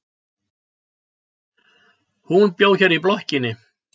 Hún bjó hérna í blokkinni.